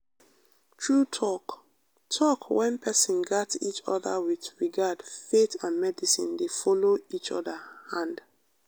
true talk - talk - when people gat each other with regard faith and medicine dey follow each other hand.